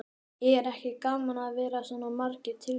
Er ekki gaman að vera með svona margar tilnefningar?